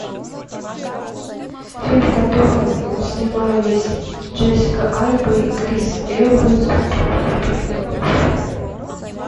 фильм в котором снимались джессика альба и крис эванс про супергероев